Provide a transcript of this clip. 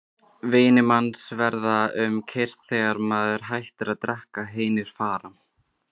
Vinir manns verða um kyrrt þegar maður hættir að drekka, hinir fara.